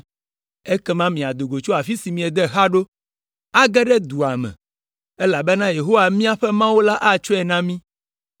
Ekema miado tso afi si miede xa ɖo, age ɖe dua me, elabena Yehowa miaƒe Mawu atsɔe na mí.